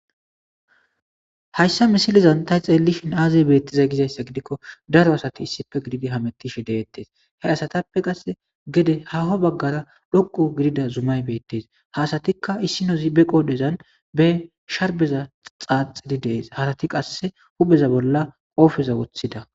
Hayssa misilezan tha xeellishi aazee beethhthiday gizayssa giikko daro asathi issippe gididi hamoththishe de7eethe; ha asathappe qassi gede haaho baggaara dhoqqu gidida zumay beeththees; ha asathikka zibbe issippe zibbeqoodhozan be sherbbeza xaaxidi de7ees; harathi qassi huupheza bolla qopheza woththida.